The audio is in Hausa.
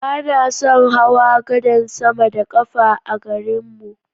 Ba na son hawa gadan sama da ƙafa a garin mu.